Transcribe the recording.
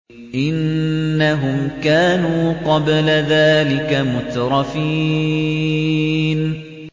إِنَّهُمْ كَانُوا قَبْلَ ذَٰلِكَ مُتْرَفِينَ